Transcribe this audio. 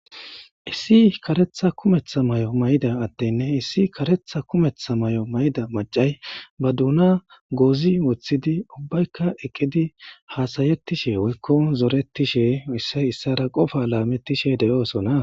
issi karetha kumetha may7o mayda adtenne issi karetha kumetha may7o mayda macay ba duuna goozi woththidi ubbaykka eqqidi haasayettishe woykko zoretishe issay issara qofa laamettishe de7oosona